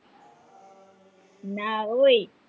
ના હોય,